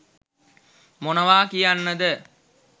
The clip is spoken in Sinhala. මොනවා කියන්න ද?